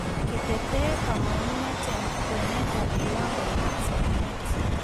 Ketetee kamangunet eng kwenetab kiwangoitab somanet